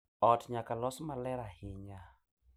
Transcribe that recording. Ot nyaka los maler ahinya.